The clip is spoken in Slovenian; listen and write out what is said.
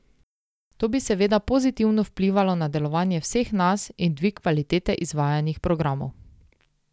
To bi seveda pozitivno vplivalo na delovanje vseh nas in dvig kvalitete izvajanih programov.